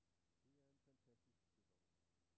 Det er en fantastisk sæson.